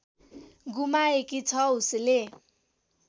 गुमाएकी छ उसले